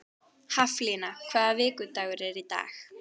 Haflína, hvaða vikudagur er í dag?